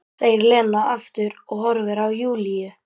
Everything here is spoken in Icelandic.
segir Lena aftur og horfir á Júlíu.